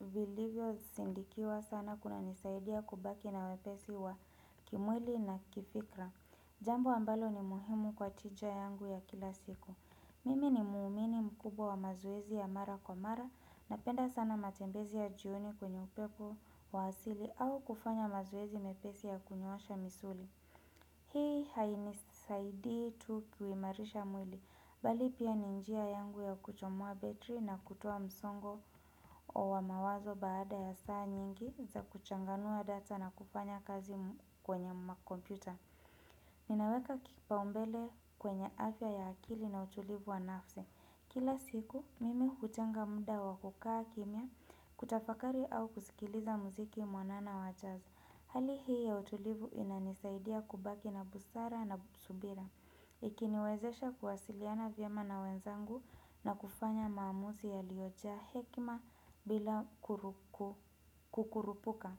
vilivyo sindikiwa sana kuna nisaidia kubaki na wepesi wa, kimwili na kifikra. Jambo ambalo ni muhimu kwa tija yangu ya kila siku. Mimi ni muumini mkubwa wa mazoezi ya mara kwa mara na penda sana matembezi ya jioni kwenye upepo wa asili au kufanya mazoezi mepesi ya kunyosha misuli. Hii haini saidii tu kuimarisha mwili. Bali pia, ni njia yangu ya kuchomoa betri nakutoa msongo wa mawazo baada ya saa nyingi za kuchanganua data na kufanya kazi kwenye makompyuta. Ninaweka kipaumbele kwenye afya ya akili na utulivu wa nafsi. Kila siku, mimi hutenga muda wakukaa kimya, kutafakari au kusikiliza muziki mwanana wa jazi. Hali hii ya utulivu inanisaidia kubaki na busara na subira. Ikiniwezesha kuwasiliana vyema na wenzangu na kufanya maamuzi yaliojaa hekima bila kukurupuka.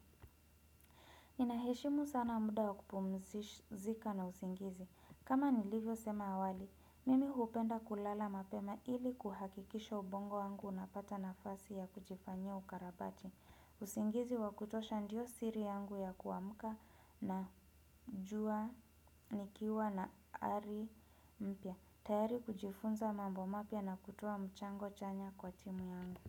Inaheshimu sana muda wakupumzika na usingizi. Kama nilivyo sema awali, mimi hupenda kulala mapema, ili kuhakikisha ubongo wangu unapata nafasi ya kujifanyia ukarabati. Usingizi wakutosha ndiyo siri yangu ya kuamuka na jua, nikiwa na ari mpya. Tayari kujifunza mambo mapya na kutoa mchango chanya kwa timu yangu.